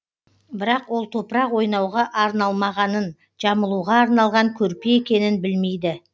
бірақ ол топырақ ойнауға арналмағанын жамылуға арналған көрпе екенін білмейді